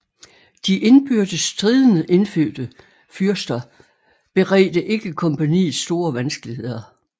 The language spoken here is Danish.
De indbyrdes stridende indfødte fyrster beredte ikke kompagniet store vanskeligheder